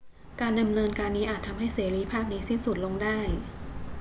การดำเนินการนี้อาจทำให้เสรีภาพนี้สิ้นสุดลงได้